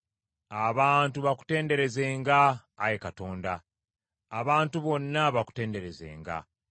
Abantu bakutenderezenga, Ayi Katonda, abantu bonna bakutenderezenga.